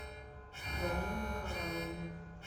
галину николаевну